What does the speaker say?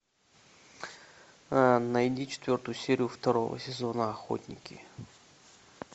найди четвертую серию второго сезона охотники